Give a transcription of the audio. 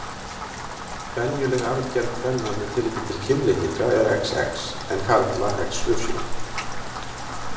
Venjuleg arfgerð kvenna með tilliti til kynlitninga er XX en karla XY.